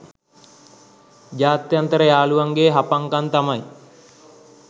ජාත්‍යන්තර යාලුවන්ගෙ හපං කං තමයි.